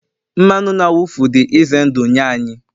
mmanụ na-awụfu dị ize ndụ nye anyị